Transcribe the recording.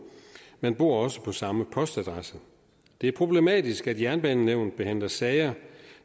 man bor også på samme postadresse det er problematisk at jernbanenævnet behandler sager